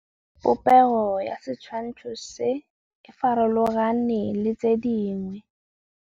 Popêgo ya setshwantshô se, e farologane le tse dingwe.